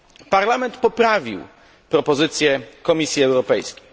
Parlament poprawił propozycję Komisji Europejskiej.